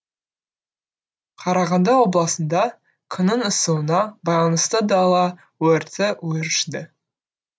қарағанды облысында күннің ысуына байланысты дала өрті өршіді